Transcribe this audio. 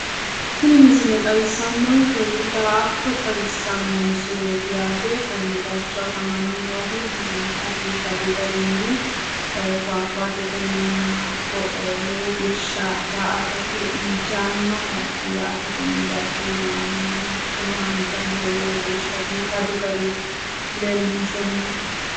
Tini misile xawissannonkehu daa"atto xawissanno misileeti yaate. Konne bayicho afamanni noohu lowonta biifadu garinni fuwaguwatetenninna hatto lowo geeshsha daa"atate injaannoho yaate konne bayicho leellayi noohu. Hattono haanja muro lowo geeshsha biifadu gariyi leellinshoonni yaate.